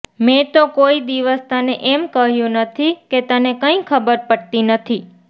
મેં તો કોઈ દિવસ તને એમ કહ્યું નથી કે તને કંઈ ખબર પડતી નથી